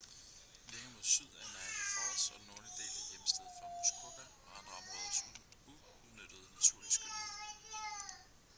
længere mod syd er niagara falls og den nordlige del er hjemsted for muskoka og andre områders uudnyttede naturlige skønhed